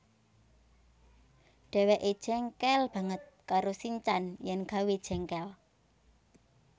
Dheweke jengkel banget karo sinchan yen gawé jengkel